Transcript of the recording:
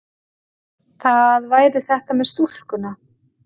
Það væri þetta með stúlkuna.